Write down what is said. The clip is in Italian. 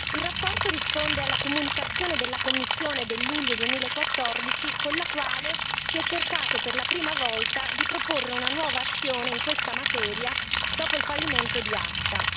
Il rapporto risponde alla comunicazione della Commissione del luglio 2014 con la quale si è cercato, per la prima volta, di proporre una nuova azione in questa materia, dopo il fallimento di ACTA.